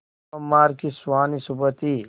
सोमवार की सुहानी सुबह थी